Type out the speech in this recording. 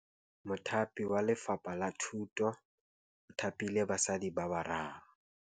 Mothapi wa Lefapha la Thutô o thapile basadi ba ba raro.